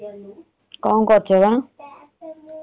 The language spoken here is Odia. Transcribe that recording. କଣ କରୁଛ ବା?